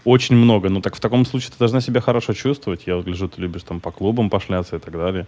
очень много но так в таком случае ты должна себя хорошо чувствовать я вот гляжу ты любишь там по клубам пошляться и так далее